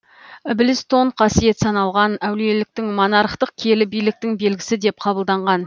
ілбіс тон қасиет саналған әулиеліктің монархтық киелі биліктің белгісі деп қабылданған